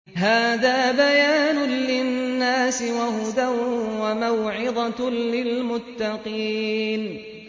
هَٰذَا بَيَانٌ لِّلنَّاسِ وَهُدًى وَمَوْعِظَةٌ لِّلْمُتَّقِينَ